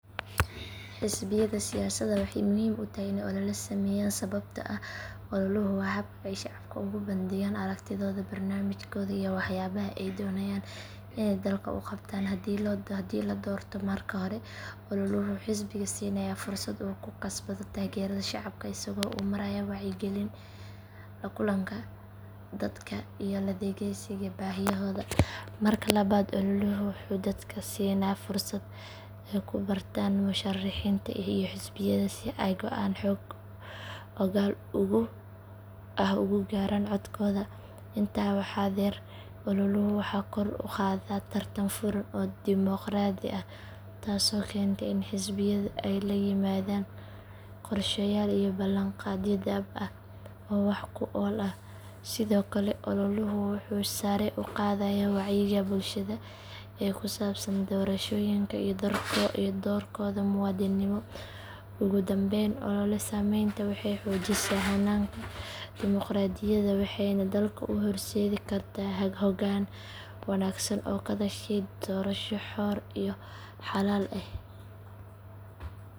Xisbiyada siyaasadda waxay muhiim u tahay inay olole sameeyaan sababtoo ah ololuhu waa habka ay shacabka ugu bandhigaan aragtidooda, barnaamijkooda iyo waxyaabaha ay doonayaan inay dalka u qabtaan haddii la doorto. Marka hore ololuhu wuxuu xisbiga siinayaa fursad uu ku kasbado taageerada shacabka isagoo u maraya wacyigelin, la kulanka dadka iyo la dhageysiga baahiyahooda. Marka labaad ololuhu wuxuu dadka siinaa fursad ay ku bartaan musharixiinta iyo xisbiyada si ay go'aan xog ogaal ah ugu gaaraan codkooda. Intaa waxaa dheer ololuhu wuxuu kor u qaadaa tartan furan oo dimoqraadi ah taasoo keenta in xisbiyadu ay la yimaadaan qorshayaal iyo ballanqaadyo dhab ah oo wax ku ool ah. Sidoo kale ololuhu wuxuu sare u qaadaa wacyiga bulshada ee ku saabsan doorashooyinka iyo doorkooda muwaadinimo. Ugu dambayn olole sameynta waxay xoojisaa hannaanka dimoqraadiyadda waxayna dalka u horseedi kartaa hoggaan wanaagsan oo ka dhashay doorasho xor iyo xalaal ah.